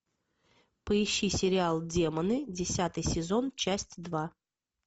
поищи сериал демоны десятый сезон часть два